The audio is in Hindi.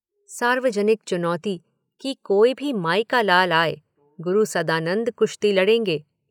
सार्वजनिक चुनौती, कि कोई भी माई का लाल आए, गुरु सदानंद कुश्ती लड़ेंगे।